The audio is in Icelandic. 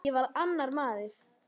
Ég varð annar maður.